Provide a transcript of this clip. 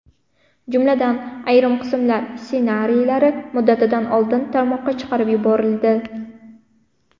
Jumladan, ayrim qismlar ssenariylari muddatidan oldin tarmoqqa chiqarib yuborildi.